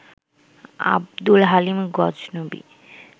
Abdul Halim Ghaznavi